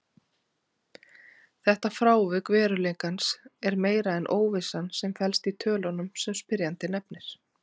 Þetta frávik veruleikans er meira en óvissan sem felst í tölunum sem spyrjandi nefnir.